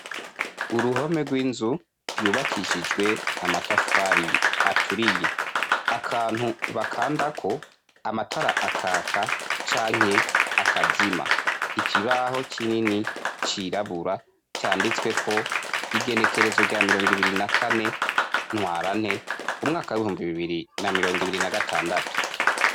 Uruhome rw'inzu yubakishijwe amatafari aturiye, akantu bakandako amatara akaka canke akazima ikibaho kinini cirabura canditsweko igenekerezo rya mirongo ibiri na kane ntwarante umwaka w'ibihumbi bibiri na mirongo ibiri na gatandatu.